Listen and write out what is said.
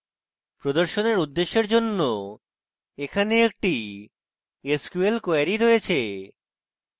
প্রদর্শনাত্মক উদ্দেশ্যের জন্য এখানে একটি sql query রয়েছে